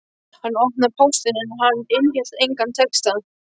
Hann opnaði póstinn en hann innihélt engan texta.